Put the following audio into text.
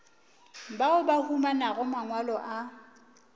bao ba humanago mangwalo a